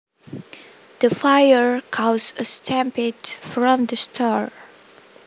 The fire caused a stampede from the store